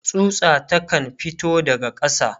tsutsa ta kan fito daga ƙasa